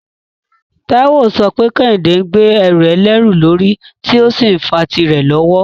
Taiwo ń sọ pé Kehinde ń gbé ẹrù ẹlẹ́rù lórí tí ó sì ń fa tìrẹ lọ́wọ́.